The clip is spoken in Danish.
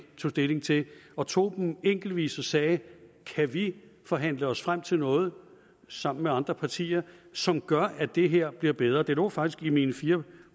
tog stilling til og tog dem enkeltvis og sagde kan vi forhandle os frem til noget sammen med andre partier som gør at det her bliver bedre det lå faktisk i mine fire